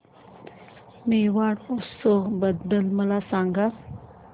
मेवाड उत्सव बद्दल मला सांग